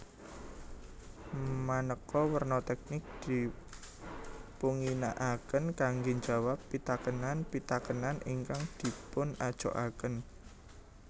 Maneka warna teknik dipunginakaken kangge njawab pitakenan pitakenan ingkang dipunajokaken